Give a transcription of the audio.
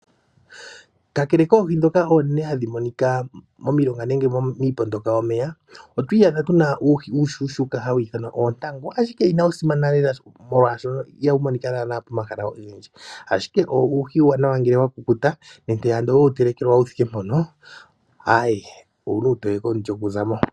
Kakele koohi dhoka oonene hadhi monika momilonga nenge miipondoka yomeya otwiiyadha tuna uuhi uushona hawu ithanwa oontangu, ashike inawu simana lela molwashoka ihawu monika naana pomahala ogendji. Ashike uuhi uuwanawa ngele wakukuta nenge ando owe wu telekelwa wuthike mpono owuli uutoye komulyo kuza mo.